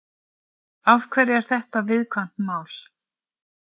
Af hverju er þetta viðkvæmt mál?